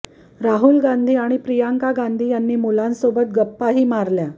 राहुल गांधी आणि प्रियांका गांधी यांनी मुलांसोबत गप्पाही मारल्या